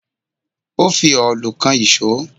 Ó fi òòlù kan ìṣọ́